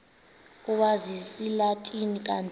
owazi isilatina kanti